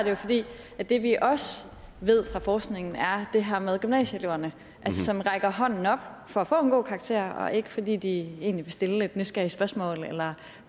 at det vi også ved fra forskningen er det her med gymnasieeleverne som rækker hånden op for at få en god karakter og ikke fordi de egentlig vil stille et nysgerrigt spørgsmål eller